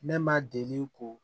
Ne ma deli ko